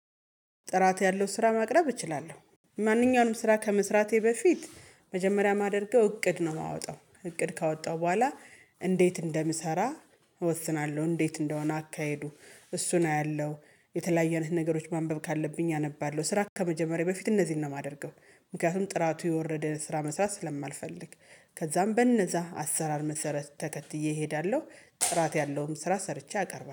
ጥራት ያለው ስራ ማቅረብ እችላለሁ። ማንኛውንም ስራ ከመስራቴ በፊት መጀመሪያ የማደርገው እቅድ ነው የማወጣው እቅድ ካወጣው በኋላ እንዴት እንደምሰራ እወስናለሁ። እንዴት እንደሆነ አካሄዱ እሱን አያለሁ የተለያየ አይነት ነገሮች ማንበብ ካለብኝ አነባለሁ ስራ ከመጀመሬ በፊት እነዚህን ነው የማደርገው። ምክንያቱም ጥራቱ የወረደ ስራ መስራት ስለማልፈልግ ከዛም በነዛ አሰራር መሰረት ተከትዬ እሄዳለሁ። ጥራት ያለውን ስራ ሰርቼ አቀርባለሁ